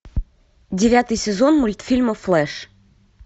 девятый сезон мультфильма флэш